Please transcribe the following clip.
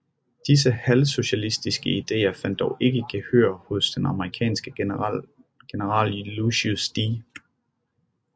Disse halvsocialistiske ideer fandt dog ikke gehør hos den amerikanske general Lucius D